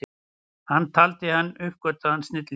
Hann taldi hann óuppgötvaðan snilling.